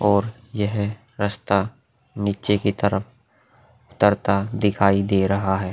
और यह रस्ता नीचे की तरफ उतरता दिखाई दे रहा है।